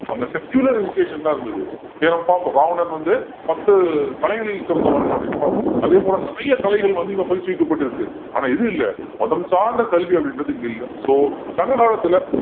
அங்க secular education தான் இருந்தது இல்லையா நம்ம பார்ப்போம் ராவணன் வந்து பத்து கலைகளில் சிறந்தவன் அப்படின்னு பார்ப்போம் அதே போல நிறைய கலைகள் வந்து இங்கே பயிற்றுவிக்கப்பட்டிருக்கு ஆனா இது இல்லை மதம் சார்ந்த கல்வி அப்படின்றது இங்கே இல்லை so சங்க காலத்தில